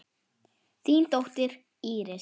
Þín dóttir, Íris.